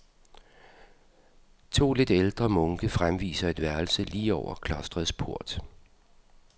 To lidt ældre munke fremviser et værelse lige over klostrets port.